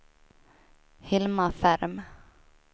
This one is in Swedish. Hilma Ferm